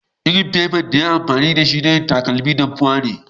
lrin fefan da ya yi amfani da shi na yin takadun dafuwa ne.